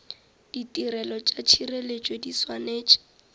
ditirelo tša tšhireletšo di swanetše